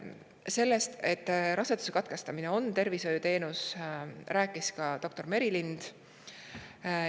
Sellest, et raseduse katkestamine on tervishoiuteenus, rääkis ka doktor Merilind.